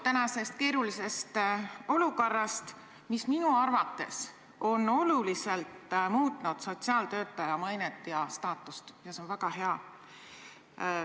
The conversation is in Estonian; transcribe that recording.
Praegune keeruline olukord on minu arvates oluliselt muutnud sotsiaaltöötaja mainet ja staatust, ja see on väga hea.